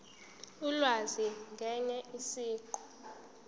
ulwazi ngaye siqu